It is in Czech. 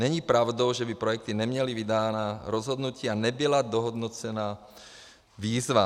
Není pravdou, že by projekty neměly vydána rozhodnutí a nebyla dohodnocena výzva.